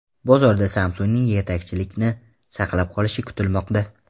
Bozorda Samsung‘ning yetakchilikni saqlab qolishi kutilmoqda.